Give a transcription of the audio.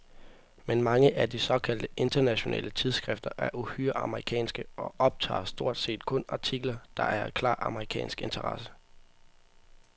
Men mange af de såkaldte internationale tidsskrifter er uhyre amerikanske og optager stort set kun artikler, der er af klar amerikansk interesse.